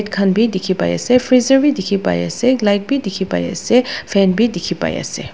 khan bi dikhi pai ase freezer bi dikhi pai ase light bi dikhi pai ase fan bi dikhi pai ase.